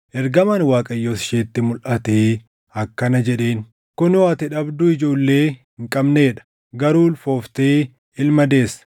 Ergamaan Waaqayyoos isheetti mulʼatee akkana jedheen; “Kunoo ati dhabduu ijoollee hin qabnee dha; garuu ulfooftee ilma deessa.